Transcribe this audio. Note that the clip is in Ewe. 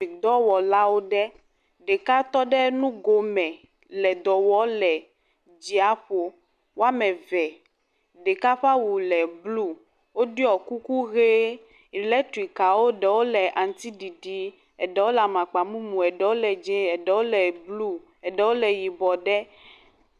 Dɔwɔlawo ɖe. Ɖeka tɔ ɖe nugome le dɔ wɔ le dziaƒo. Woame ve, ɖeka ƒe awu le bluu. Woɖiɔ kuku ʋee. Ilɛtrikikawo ɖewo le aŋutiɖiɖi, eɖwo le amakpamumu, eɖewo le dzẽ, eɖewo bluu, eɖewo le yibɔɔ ɖe.